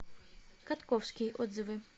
катковский отзывы